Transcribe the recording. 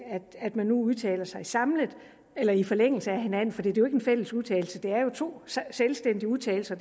at man nu udtaler sig samlet eller i forlængelse af hinanden for det er jo ikke en fælles udtalelse det er to selvstændige udtalelser